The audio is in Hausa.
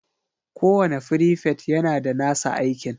kowane frifet yana da nasa aikin